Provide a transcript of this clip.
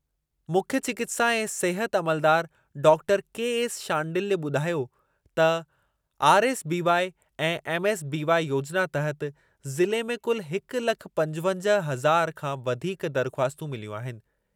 मुख्यु चिकित्सा ऐं सिहत अमलदार डाक्टर केएस शांडिल्य ॿुधायो त आरएसबीवाई ऐं एमएसबीवाई योजिना तहति ज़िले में कुलु हिकु लख पंजवंजाहु हज़ार खां वधीक दरख़्वास्तूं मिलियूं आहिनि।